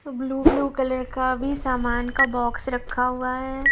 Blue blue colour का भी सामान का बॉक्स रखा हुआ है।